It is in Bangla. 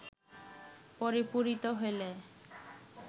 পরিপূরিত হইলে